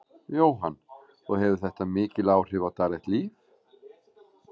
Jóhann: Og hefur þetta mikil áhrif á daglegt líf?